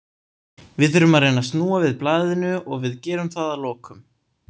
Við þurfum að reyna að snúa við blaðinu og við gerum það að lokum.